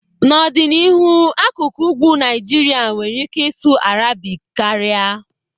N'ọdịnihu, akụkụ ugwu Naijiria nwere ike ịsụ Arabic karịa.